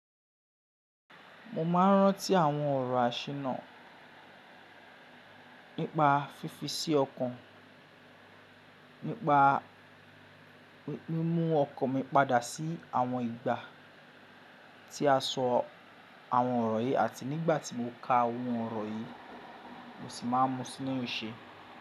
Mo ma ń ránti àwọn ọ̀rọ̀ àṣìnà nípa fífi sí ọkàn, nípa mímu ọkan mi padà sí àwọn ìgbà tí a sọ àwọn ọ̀rọ̀ yìí àti nígbà tí mo ka àwọn ọ̀rọ̀ yìí, mo sì máa ń mú sínú iṣẹ́.